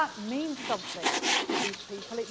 That means something to these people.